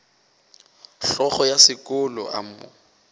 hlogo ya sekolo a mo